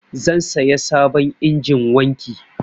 Zan saya sabon injin wanki.